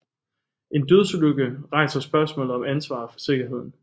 En dødsulykke rejser spørgsmålet om ansvaret for sikkerheden